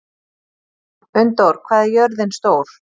Unndór, hvað er jörðin stór?